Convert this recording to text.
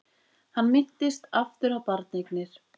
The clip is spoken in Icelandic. Hann minntist aftur á barneignir.